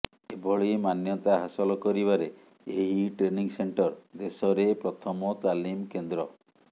ଏଭଳି ମାନ୍ୟତା ହାସଲ କରିବାରେ ଏହି ଟ୍ରେନିଂ ସେଂଟର ଦେଶରେ ପ୍ରଥମ ତାଲିମ କେନ୍ଦ୍ର